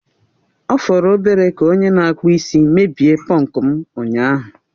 Ọ fọrọ obere ka onye na-akpụ isi mebie pọnku m ụnyaahụ